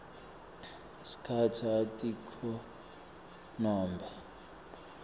sikhatsi atikho nobe